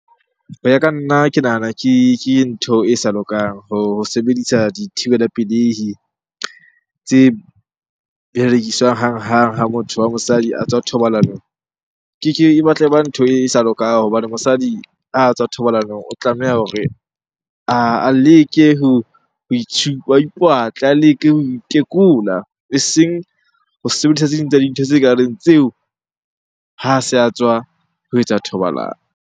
Ho ya ka nna, ke nahana ke ntho e sa lokang ho sebedisa dithibela pelehi tse berekiswang hanghang ha motho wa mosadi a tswa thobalanong. E batla e ba ntho e sa lokang hobane mosadi ha tswa thobalanong o tlameha hore a leke ho a ipatle, a leke ho itekola eseng ho sebedisa tse ding tsa dintho tse kareng tseo ha se a tswa ho etsa thobalano.